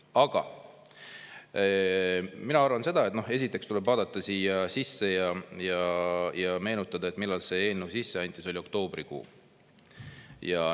Aga mina arvan seda, et esiteks tuleb vaadata siia sisse ja meenutada, millal see eelnõu sisse anti – see oli oktoobrikuu.